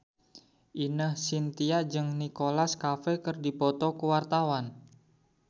Ine Shintya jeung Nicholas Cafe keur dipoto ku wartawan